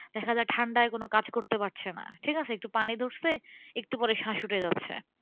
দেখা যায় ঠান্ডায় কোনো কাজ করতে পারছে না। ঠিকাছে? একটু পানি একটু পরে স্বাস উঠে যাচ্ছে।